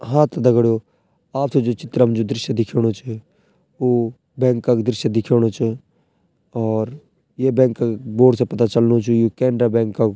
हाँ त दगडियों आपथे जू चित्रम जू दृश्य दिखेणु च वू बैंक क दृश्य दिखेणु च और ये बैंक क बोर्ड से पता चलणु च यु कैनरा बैंक क --